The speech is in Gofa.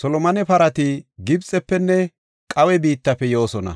Solomone parati Gibxefenne Qaawe biittafe yoosona.